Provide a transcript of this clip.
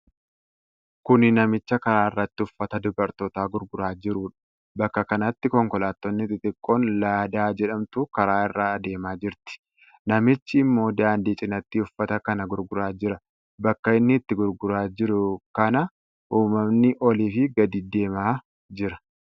Kuni namicha karaa irratti uffata dubartootaa gurguraa jiruudha. Bakka kanatti konkolaattoonni xixiqqoon laadaa jedhamtu karaa irra adeemaa jirti. Namichi ammoo daandii cinaatti uffata kana gurguraa jira. Bakka inni itti gurguraa jiru kana ummanni oliifi gadi deemaa jira.